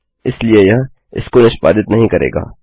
इसलिए यह इसको निष्पादित नहीं करेगा